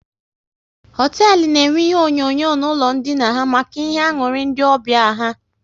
Hoteelu na enwe ihe onyonyo n'ụlọ ndina ha maka ihe aṅụrị ndị ọbịa ha